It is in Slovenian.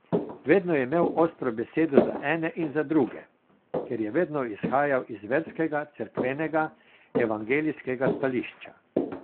Vedno je imel ostro besedo za ene in za druge, ker je vedno izhajal z verskega, cerkvenega, evangelijskega stališča.